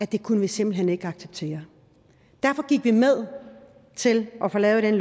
det kunne vi simpelt hen ikke acceptere derfor gik vi med til at få lavet dette